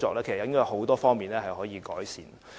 其實有很多方面是可以改善的。